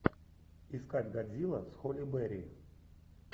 искать годзилла с холли берри